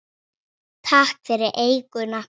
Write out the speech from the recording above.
Takk fyrir eyjuna.